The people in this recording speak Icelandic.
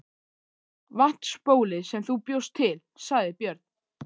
Vatnsbólið sem þú bjóst til, sagði Björn.